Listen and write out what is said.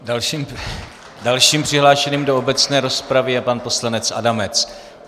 Dalším přihlášeným do obecné rozpravy je pan poslanec Adamec.